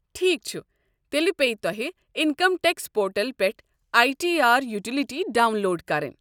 ٹھیٖک چھُ، تیٚلہِ پیہِ تۄہہِ انکم ٹیکس پورٹل پٮ۪ٹھ I T R utility download کرٕنۍ۔